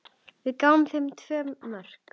Við gáfum þeim tvö mörk.